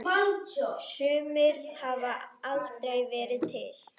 Sumir hafa aldrei verið til.